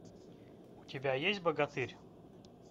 у тебя есть богатырь